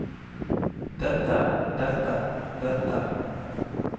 dette dette dette